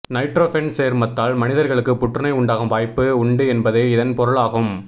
nitrofen சேர்மத்தால் மனிதர்களுக்கு புற்றுநோய் உண்டாகும் வாய்ப்பு உண்டு என்பது இதன் பொருளாகும்